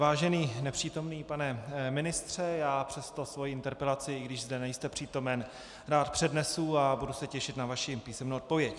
Vážený nepřítomný pane ministře, já přesto svou interpelaci, i když zde nejste přítomen, rád přednesu a budu se těšit na vaši písemnou odpověď.